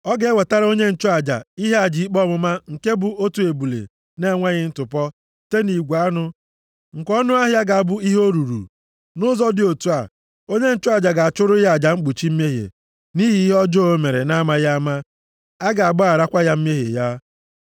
Ọ ga-ewetara onye nchụaja ihe aja ikpe ọmụma nke bụ otu ebule na-enweghị ntụpọ site nʼigwe anụ, nke ọnụahịa ga-abụ ihe o ruru. Nʼụzọ dị otu a, onye nchụaja ga-achụrụ ya aja mkpuchi mmehie nʼihi ihe ọjọọ o mere na-amaghị ama. A ga-agbaghara ya mmehie ya.